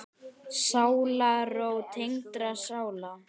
Sálarró tengdra sála.